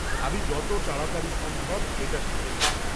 আমি যত তাড়াতাড়ি সম্ভব এটা শিখে নেব।